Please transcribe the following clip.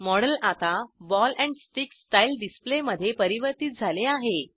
model आता ball and stick style डिसप्लेमध्ये परिवर्तीत झाले आहे